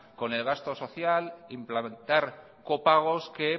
con el gasto social implantar copagos que